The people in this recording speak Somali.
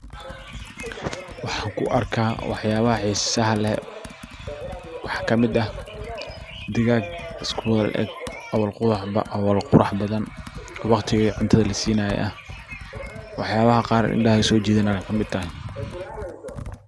Waxan ku arka waxyabaha xiisaha leh waxaa kamid ah digag isku wala eg oo wala qurax badan waqtigi cuntada lasiinaye eh waxayabaha qaar indahaha soo jidanaya aya kamid ah.